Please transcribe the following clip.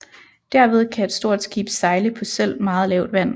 Derved kan et stort skib sejle på selv meget lavt vand